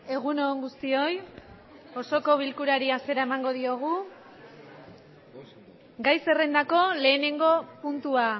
egun on guztioi osoko bilkurari hasiera emango diogu gai zerrendako lehenengo puntua